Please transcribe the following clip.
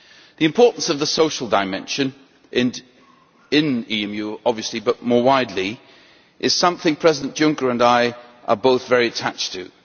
The importance of the social dimension in EMU, obviously, but also more widely is something President Juncker and I are both very attached to.